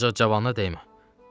Ancaq cavana dəymə.